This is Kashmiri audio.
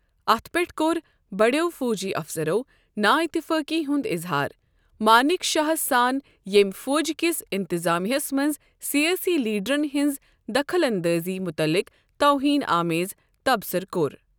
اَتھ پٮ۪ٹھ کوٚر، بڈِیو فوجی افسرو نااتفٲقی ہُنٛد اظہار، مانیک شاہس سان ییمۍ فوج کِس انتظامیاہس منٛز سیٲسی لیڈرن ہنز دخٕل انٛدٲزی مُتعلق توہین آمیز تبصُرٕ كور ۔